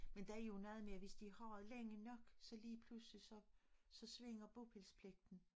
Men der jo noget med hvis har længe nok så ligepludselig så så svinger bopælspligten